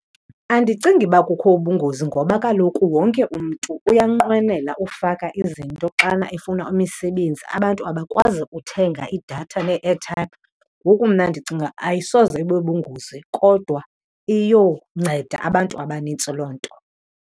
Andicingi uba kukho ubungozi ngoba kaloku wonke umntu uyanqwenela ufaka izinto xana efuna imisebenzi, abantu abakwazi uthenga idatha nee-airtime. Ngoku mna ndicinga ayisoze ibe bubungozi kodwa iyonceda abantu abanintsi loo nto.